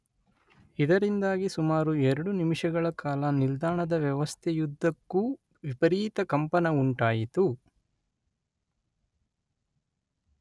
ಇದರಿಂದಾಗಿ ಸುಮಾರು ಎರಡು ನಿಮಿಷಗಳ ಕಾಲ ನಿಲ್ದಾಣದ ವ್ಯವಸ್ಥೆಯುದ್ದಕ್ಕೂ ವಿಪರೀತ ಕಂಪನ ಉಂಟಾಯಿತು.